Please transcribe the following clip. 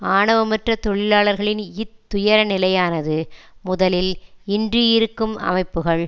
ஆவணமற்ற தொழிலாளர்களின் இத் துயரநிலையானது முதலில் இன்று இருக்கும் அமைப்புக்கள்